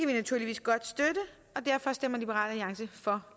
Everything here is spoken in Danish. naturligvis godt støtte og derfor stemmer liberal alliance for